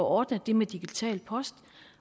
ordnet det med digital post